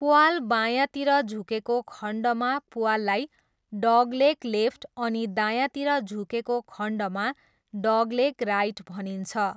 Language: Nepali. प्वाल बायाँतिर झुकेको खण्डमा प्वाललाई 'डगलेग लेफ्ट' अनि दायाँतिर झुकेको खण्डमा 'डगलेग राइट' भनिन्छ।